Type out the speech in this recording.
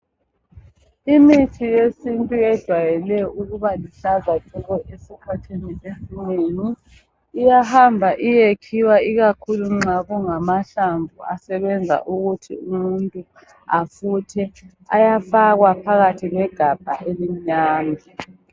Imithi yesintu ejayele ukuba luhlaza tshoko, esikhathini esinengi iyahamba iyekhiwa ikakhulu nxa kungamahlamvu asebenza ukuthi umuntu afuthe iyafakwa egabheni elimnyama